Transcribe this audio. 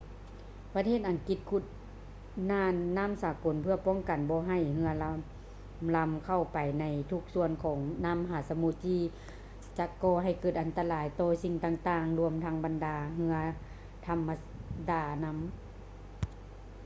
ປະເທດອັງກິດຂຸດນ່ານນໍ້າສາກົນເພື່ອປ້ອງກັນບໍ່ໃຫ້ເຮືອລຳໆເຂົ້າໄປໃນທຸກສ່ວນຂອງມະຫາສະໝຸດ ທີ່ຈະກໍໃຫ້ເກີດອັນຕະລາຍຕໍ່ສິ່ງຕ່າງໆລວມທັງບັນດາເຮືອທຳມະດານຳ